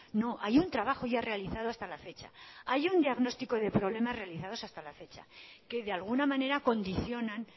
no hay un trabajo ya realizado hasta la fecha hay un diagnóstico de problemas realizados hasta la fecha que de alguna manera condicionan